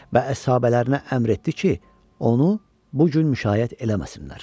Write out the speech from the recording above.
Və əshabələrinə əmr etdi ki, onu bu gün müşaiyət eləməsinlər.